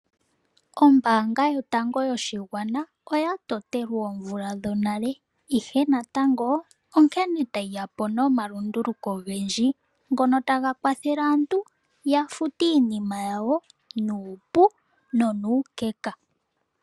Ombaanga yotango yoshigwana oya totelwe oomvula dhonale, ihe natango onkene tayi yapo nomalunduluko ogendji ngono taga kwathele aantu ya fute iinima yawo nuupu nonuukeka.